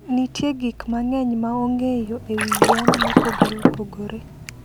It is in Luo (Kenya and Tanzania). Nitie gik mang'eny ma ong'eyo e wi yien mopogore opogore.